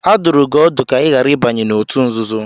A dụrụ gị ọdụ ka ị ghara ịbanye n'òtù nzuzo.